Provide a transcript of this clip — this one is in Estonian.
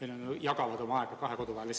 Inimesed jagavad oma aega kahe kodu vahel.